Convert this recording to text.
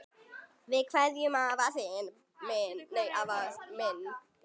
Við kveðjum þig, afi minn.